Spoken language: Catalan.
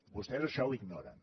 vostès això ho ignoren